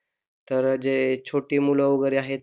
तर जे छोटे मुले वैगेरे आहेत,